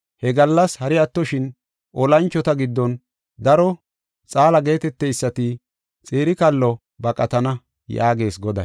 He gallas hari attoshin olanchota giddon daro xaala geeteteysati xire kallo baqatana” yaagees Goday.